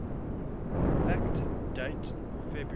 fact date february